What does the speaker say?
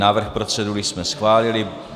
Návrh procedury jsme schválili.